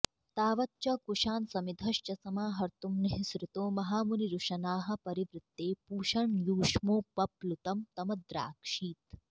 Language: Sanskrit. तावच्च कुशान् समिधश्च समाहर्त्तुं निःसृतो महामुनिरुशनाः परिवृत्ते पूषण्यूष्मोपप्लुतं तमद्राक्षीत्